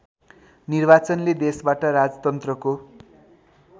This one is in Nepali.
निर्वाचनले देशबाट राजतन्त्रको